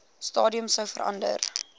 stadium sou verander